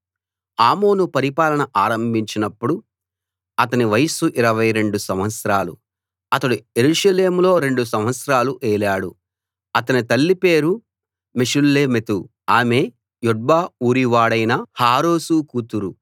ఆమోను పరిపాలన ఆరంభించినప్పుడు అతని వయస్సు 22 సంవత్సరాలు అతడు యెరూషలేములో రెండు సంవత్సరాలు ఏలాడు అతని తల్లి పేరు మెషుల్లెమెతు ఆమె యొట్బ ఊరివాడైన హారూసు కూతురు